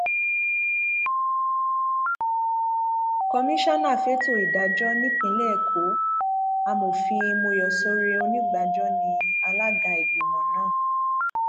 komisanna fẹtọ ìdájọ nípínlẹ èkó amọfin mòyọsọrẹ onígbajọ ní alága ìgbìmọ náà